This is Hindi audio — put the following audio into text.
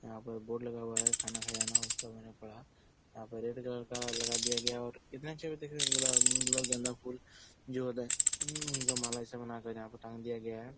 ''यहाँ पर बोर्ड लगा हुआ है खाना खजाना उसको मैंने पढ़ा यहाँ पे रेड कलर का लगा दिया गया है और इतने अच्छे गुलाब गेंदा फूल ''''जो होता है उन्हह का माला बना कर यहाँ पर टांग दिया गया है ।''